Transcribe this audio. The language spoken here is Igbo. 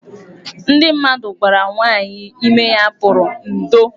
Ndị gwara nwaanyị ime ya pụrụ 'ndo'.